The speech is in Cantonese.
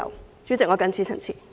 代理主席，我謹此陳辭。